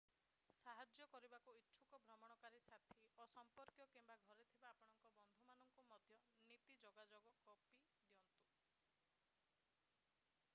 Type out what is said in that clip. ସାହାଯ୍ୟ କରିବାକୁ ଇଚ୍ଛୁକ ଭ୍ରମଣକାରୀ ସାଥୀ ଓ ସମ୍ପର୍କୀୟ କିମ୍ବା ଘରେ ଥିବା ଆପଣଙ୍କ ବନ୍ଧୁମାନଙ୍କୁ ମଧ୍ୟ ନୀତି/ଯୋଗାଯୋଗର କପି ଦିଅନ୍ତୁ।